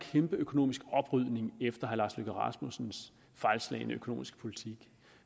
kæmpe økonomisk oprydning efter herre lars løkke rasmussens fejlslagne økonomiske politik